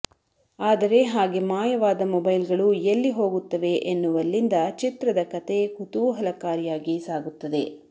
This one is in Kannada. ಆದರೆ ಹಾಗೆ ಮಾಯವಾದ ಮೊಬೈಲ್ ಗಳು ಎಲ್ಲಿ ಹೋಗುತ್ತವೆ ಎನ್ನುವಲ್ಲಿಂದ ಚಿತ್ರದ ಕತೆ ಕುತೂಹಲಕಾರಿಯಾಗಿ ಸಾಗುತ್ತದೆ